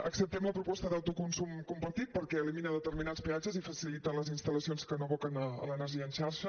acceptem la proposta d’autoconsum compartit perquè elimina determinats peatges i facilita les instal·lacions que no aboquen a l’energia en xarxa